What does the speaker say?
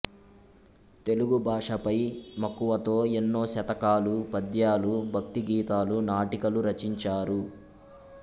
తెలుగు భాషపై మక్కువతో ఎన్నో శతకాలు పద్యాలు భక్తి గీతాలు నాటికలు రచించారు